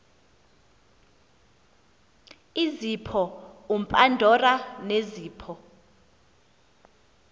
izipho upandora nezipho